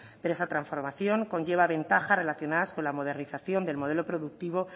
pero esa transformación conlleva ventajas relacionadas con la modernización del modelo productivo